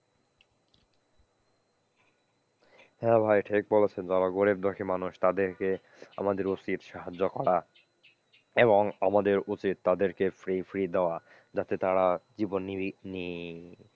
হ্যাঁ ভাই ঠিক বলেছেন যারা গরীব দুঃখী মানুষ তাদের কে আমাদের উচিত সাহায্য করা, এবং আমাদের উচিত তাদেরকে free free দেয়া যাতে তারা জীবন নিবিক,